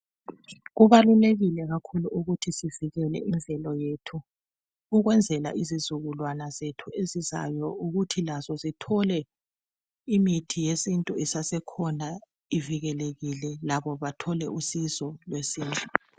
Kubalulekile kakhulu ukuthi sivikele imvelo yethu ukwenzela izizukulwana zethu ezizayo ukuthi lazo zithole imithi yesintu isasekhona ivikelekile labo bathole usizo lwesintu.